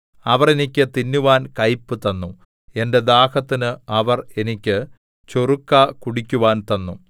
അവർ എനിക്ക് തിന്നുവാൻ കൈപ്പ് തന്നു എന്റെ ദാഹത്തിന് അവർ എനിക്ക് ചൊറുക്ക കുടിക്കുവാൻ തന്നു